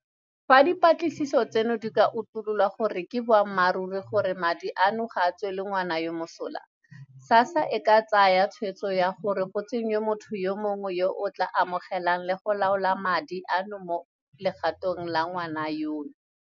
"Fa dipatlisiso tseno di ka utulola gore ke boammaruri gore madi a no ga a tswele ngwana yoo mosola, SASSA e ka tsaya tshwetso ya gore go tsenngwe motho yo mongwe yo a tla amogelang le go laola madi ano mo legatong la ngwana yono."